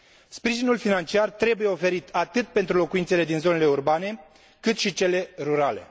Sprijinul financiar trebuie oferit atât pentru locuințele din zonele urbane, cât și cele rurale.